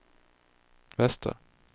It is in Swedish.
väster